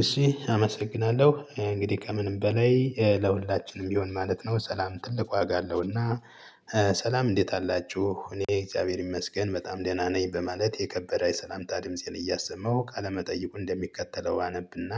እሺ አመሰግናለሁ እንግዲህ ከምንም በላይ ለሁላችንም ቢሆን ማለት ነው ሰላም ትልቅ ዋጋ አለውና። ሰላም እንዴት አላችሁ እኔ እግዚአብሔር ይመስገን በጣም ደህና ነኝ በማለት የከበረ የሰላምታ ድምፄን እያሰማሁ ቃለመጠይቁ እንደሚከተለው አነብና።